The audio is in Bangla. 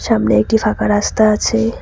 সামনে একটি ফাঁকা রাস্তা আছে।